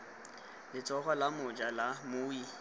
letsogo la moja la mmui